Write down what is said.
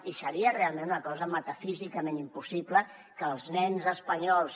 i seria realment una cosa metafísicament impossible que els nens espanyols